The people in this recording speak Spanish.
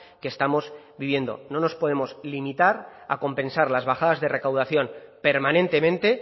que estamos viviendo no nos podemos limitar a compensar las bajadas de recaudación permanentemente